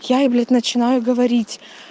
я ей блядь начинаю говорить